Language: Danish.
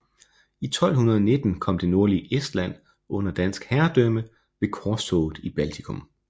I 1219 kom det nordlige Estland under dansk herredømme ved korstoget i Baltikum